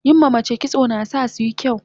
yin ma mace kitso nasasu yin kyau